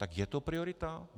Tak je to priorita?